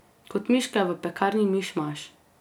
Kot miške v pekarni Mišmaš.